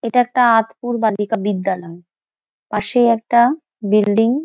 এটা একটা আতপুর বালিকা বিদ্যালয়। পাশেই একটা বিল্ডিং --